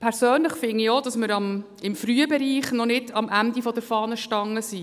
Persönlich finde ich auch, dass wir im Frühbereich noch nicht am Ende der Fahnenstange sind.